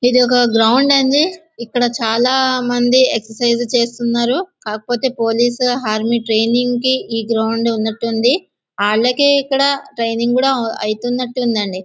ఇదొక గ్రౌండ్ అండి. ఇక్కడ చాలామంది ఎక్సర్సైజ్ చేస్తున్నారు. కాకపోతే పోలీసు ఆర్మీ ట్రైనింగు కి గ్రౌండ్ అన్నట్టుగా ఉంది. వాళ్లకి ఇక్కడ ట్రైనింగ్ కూడా అయితున్నట్టుగా ఉందండి.